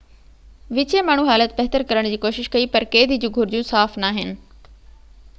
وچين ماڻهو حالت بهتر ڪرڻ جي ڪوشش ڪئي پر قيدي جون گهرجون صاف ناهن